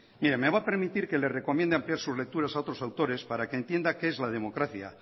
mire me va a permitir que le recomiende ampliar sus lecturas a otros autores para que entienda qué es la democracia